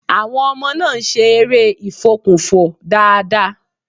Àwọn ọmọ náà ń́ ṣe eré ìfokùnfò dáadáa.